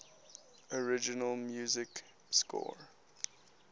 original music score